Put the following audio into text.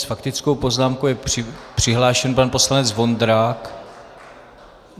S faktickou poznámkou je přihlášen pan poslanec Vondrák.